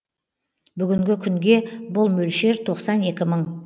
бүгінгі күнге бұл мөлшер тоқсан екі мың